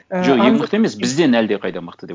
ы жоқ ең мықты емес бізден әлдеқайда мықты деп